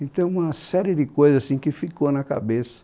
Então, uma série de coisas assim que ficou na cabeça.